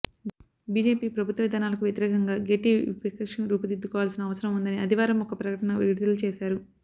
BJP ప్రభుత్వ విధానాలకు వ్యతిరేకంగా గట్టి విపక్షం రూపుదిద్దుకోవాల్సిన అవసరం ఉందని ఆదివారం ఒక ప్రకటన విడుదల చేశారు